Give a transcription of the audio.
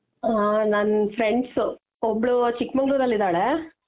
ಹ ನನ್ friends ಒಬ್ಳು ಚಿಕ್ಕ ಮಂಗಳೂರು ಅಲ್ಲಿ ಇದಾಳೆ.